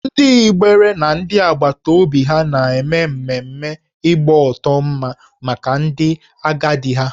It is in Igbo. Ndị Igbere na ndị agbata obi ha na-eme mmemme ịgbọtọ mma maka ndị agadi ha